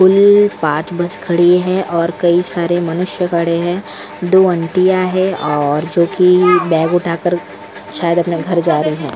कुल पांच बस खड़ी है और कई सारे मनुष्य खड़े हैं दो अंतिया है और जो कि बैग उठाकर शायद अपने घर जा रही है ।